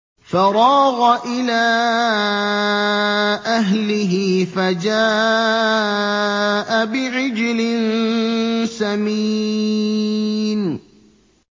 فَرَاغَ إِلَىٰ أَهْلِهِ فَجَاءَ بِعِجْلٍ سَمِينٍ